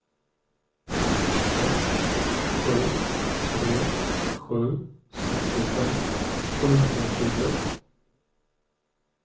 ett sju tre sju sextiofem sjuhundratjugoett